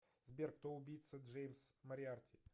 сбер кто убийца джеймс мориарти